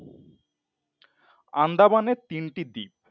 আন্দামানে তিনটি দ্বীপ।